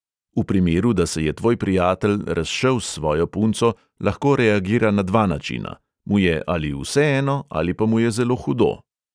V primeru, da se je tvoj prijatelj razšel s svojo punco, lahko reagira na dva načina: mu je ali vseeno ali pa mu je zelo hudo.